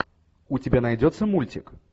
у тебя найдется мультик